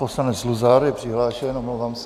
Poslanec Luzar je přihlášen, omlouvám se.